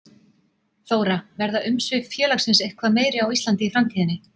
Þóra: Verða umsvif félagsins eitthvað meiri á Íslandi í framtíðinni?